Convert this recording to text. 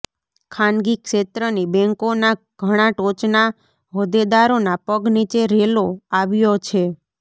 ખાનગી ક્ષેત્રની બેન્કોના ઘણા ટોચના હોદ્દેદારોના પગ નીચે રેલો આવ્યો છે